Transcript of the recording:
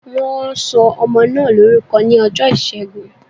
Wọn sọ ọmọ náà lórúkọ ní ọjọ́ ìṣẹ́gun